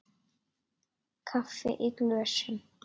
Kaffi í glösum.